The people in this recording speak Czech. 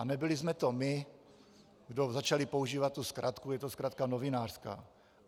A nebyli jsme to my, kdo začali používat tu zkratku, je to zkratka novinářská.